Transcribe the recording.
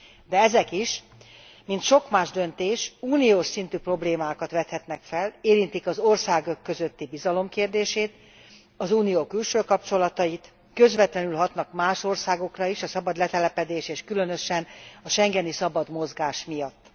De ezek is, mint sok más döntés, uniós szintű problémákat vethetnek fel, érintik az országok közötti bizalom kérdését, az Unió külső kapcsolatait, közvetlenül hatnak más országokra is a szabad letelepedés és különösen a schengeni szabad mozgás miatt.